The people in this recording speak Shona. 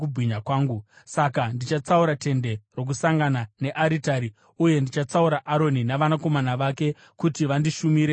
“Saka ndichatsaura Tende Rokusangana nearitari uye ndichatsaura Aroni navanakomana vake kuti vandishumire savaprista.